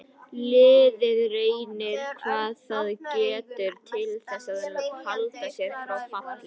Liðið reynir hvað það getur til þess að halda sér frá falli.